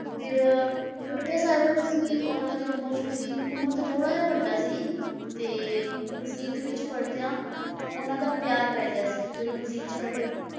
ਫਿਰ ਮਿਰਜ਼ਾ ਸਾਹਿਬਾਂ ਜੋ ਸੀ ਉਹਨਾਂ ਦੀ ਉਮਰ ਜੋ ਸੀ, ਉਮਰ ਤੋਂ ਥੋੜ੍ਹਾ ਜਿਹਾ ਵੱਡਾ ਸੀ, ਤੇ ਮਸੀਤ ਵਿੱਚ ਪੜ੍ਹਦਿਆਂ ਉਹਨਾਂ ਦਾ ਪਿਆਰ ਪੈ ਗਿਆ ਸੀ ਜਦੋਂ ਮਸੀਤ 'ਚ ਪੜ੍ਹਦੇ ਸੀ ਨਾ